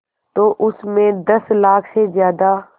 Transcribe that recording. तो उस में दस लाख से ज़्यादा